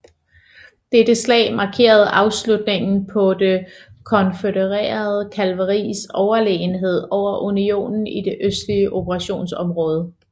Dette slag markerede afslutningen på det konfødererede kavaleris overlegenhed over unionens i det østlige operationsområde